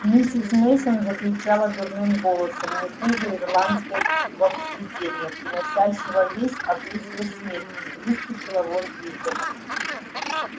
миссис мейсон закричала дурным голосом не хуже ирландского привидения приносящего весть о близкой смерти и выскочила вон из дома